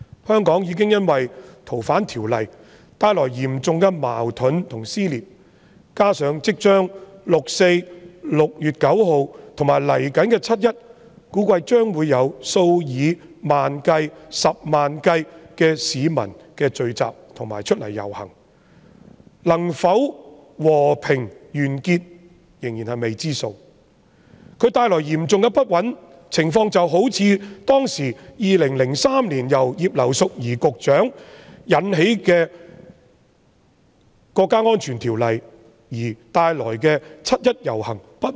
香港已經因為修訂《逃犯條例》而出現嚴重的矛盾和撕裂，加上六四將至、6月9日及接下來的七一，估計將會有數以萬計、十萬計的市民聚集和上街遊行，能否和平結束仍屬未知之數，所帶來的嚴重不穩定因素，情況好比2003年前局長葉劉淑儀提出《國家安全條例草案》而導致的七一遊行一樣。